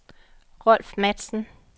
Rolf Matzen